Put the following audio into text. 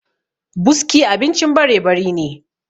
buski abincin barebari ne